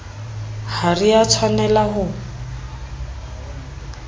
ha re a tshwanela ho